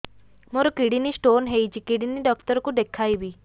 ମୋର kidney stone ହେଇଛି kidney doctor କୁ ଦେଖାଇବି